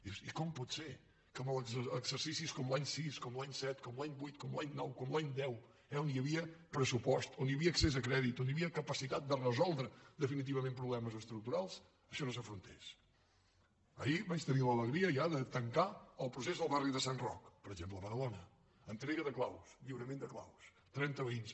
i dius i com pot ser que en els exercicis com l’any sis com l’any set com l’any vuit com l’any nou com l’any deu on hi havia pressupost on hi havia accés a crèdit on hi havia capacitat de resoldre definitivament problemes estructurals això no s’afrontés ahir vaig tenir l’alegria ja de tancar el procés al barri de sant roc per exemple a badalona entrega de claus lliurament de claus trenta veïns